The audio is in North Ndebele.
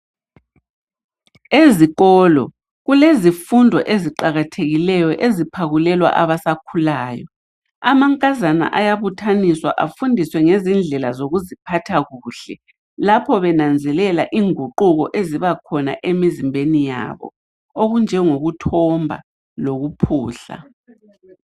Ezikolo, kulezifundo eziqakathekileyo eziphakulelwa abasakhulayo. Amankazana ayabuthaniswa. Afundiswe ngezindlela zokuziphatha kuhle. Lapha benanzelela inguquko ebakhona emizimbeni yabo, enjengokuthomba lokuphuhla.